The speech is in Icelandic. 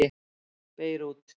Beirút